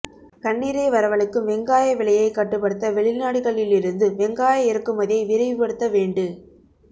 கண்ணீரை வரவழைக்கும் வெங்காய விலையை கட்டுபடுத்த வெளிநாடுகளில் இருந்து வெங்காய இறக்குமதியை விரைவுபடுத்த வேண்டு